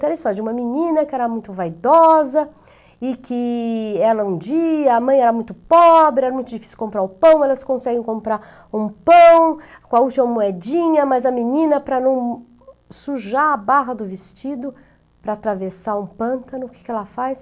to, era a histórua de uma menina que era muito vaidosa e que ela um dia, a mãe era muito pobre, era muito difícil comprar o pão, elas conseguem comprar um pão com a última moedinha, mas a menina para não sujar a barra do vestido, para atravessar um pântano, o que que ela faz?